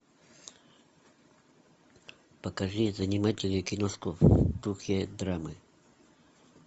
покажи занимательную киношку в духе драмы